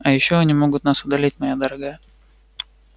а они ещё могут нас удалить моя дорогая